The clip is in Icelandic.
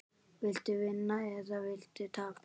Viltu vinna eða viltu tapa?